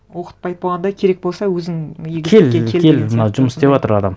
оқытпайды болғанда керек болса өзің кел кел мынау жұмыс істеватыр адам